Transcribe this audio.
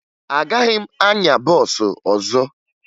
Agaghị m anya bọọsụ ọzọ